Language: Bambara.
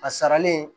A saralen